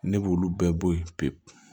Ne b'olu bɛɛ bɔ yen pewu